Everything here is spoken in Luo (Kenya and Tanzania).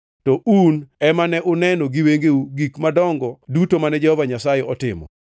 To un ema ne uneno giwengeu gik madongo duto mane Jehova Nyasaye otimo.